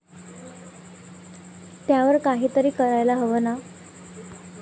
त्यावर काहीतरी करायला हवं ना?